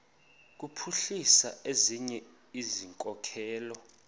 kuphuhlisa ezinye izikhokelo